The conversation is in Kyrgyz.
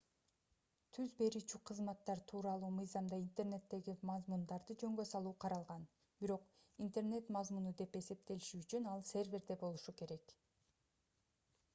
түз берүүчү кызматтар тууралуу мыйзамда интернеттеги мазмундарды жөнгө салуу каралган бирок интернет мазмуну деп эсептелиши үчүн ал серверде болушу керек